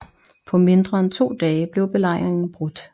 På mindre end to dage blev belejringen brudt